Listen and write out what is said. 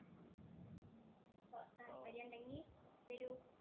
താല്പര്യം ഉണ്ടങ്കില്‍ വരൂ.